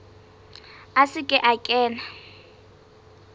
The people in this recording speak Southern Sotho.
a se ke a kena